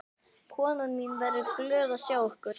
Konan mín verður glöð að sjá ykkur.